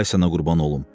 Ay sənə qurban olum.